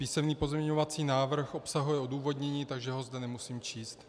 Písemný pozměňovací návrh obsahuje odůvodnění, takže ho zde nemusím číst.